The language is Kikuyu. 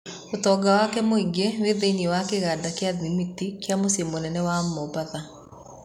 ũtonga wake mũingĩ wĩ thĩiniĩ wa kĩganda gĩa thĩmiti kĩa mũciĩ mũnene wa Mombatha.